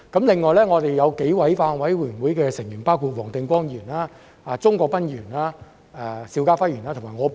另外，我們有數位法案委員會委員，包括黃定光議員、鍾國斌議員、邵家輝議員和我。